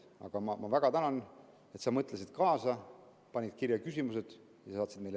Aga ma väga tänan, et sa mõtlesid kaasa, panid küsimused kirja ja saatsid meile.